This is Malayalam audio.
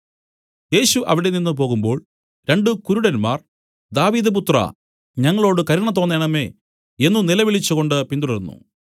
യേശു അവിടെനിന്ന് പോകുമ്പോൾ രണ്ടു കുരുടന്മാർ ദാവീദ് പുത്രാ ഞങ്ങളോടു കരുണ തോന്നേണമേ എന്നു നിലവിളിച്ചുകൊണ്ട് പിന്തുടർന്നു